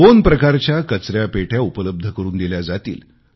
दोन प्रकारच्या कचरापेट्या उपलब्ध करून दिल्या जातील